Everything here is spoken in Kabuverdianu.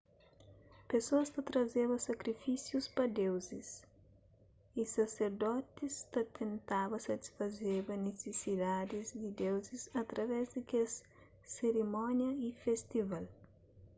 pesoas ta trazeba sakrifisius pa deuzis y saserdotis ta tentaba satisfazeba nisisidadis di deuzis através di kes sirimónia y festival